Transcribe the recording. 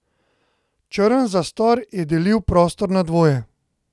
Črn zastor je delil prostor na dvoje.